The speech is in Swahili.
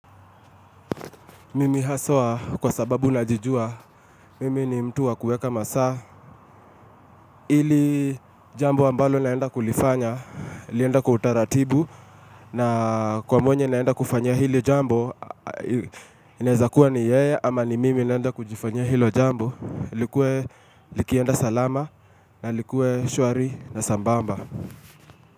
Mimi haswa kwa sababu najijua, mimi ni mtu wa kuweka masaa, ili jambo ambalo naenda kulifanya, lienda kwa utaratibu, na kwa mwenye naenda kufanyia hili jambo, inaeza kuwa ni yeye, ama ni mimi naenda kujifanyia hilo jambo, likue, likienda salama, na likue shwari na sambamba.